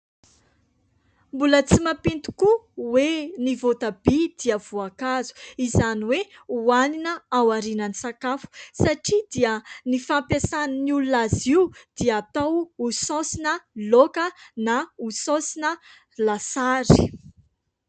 Mbola tsy mampino tokoa hoe ny voatabia dia voankazo. izany hoe hoanina ao aorinan' ny sakafo satria dia ny fampiasan' ny olona azy io dia atao ho saosina loka na ho saosina lasary.